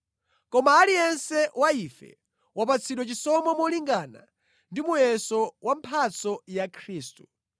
Koma aliyense wa ife wapatsidwa chisomo molingana ndi muyeso wa mphatso ya Khristu.